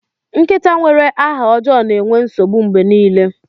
Nkịta nwere aha ọjọọ na-enwe nsogbu mgbe niile.